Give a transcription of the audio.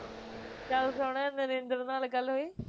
ਗੱਲ ਸੁਣ ਨਰਿੰਦਰ ਨਾਲ਼ ਗੱਲ ਹੋਈ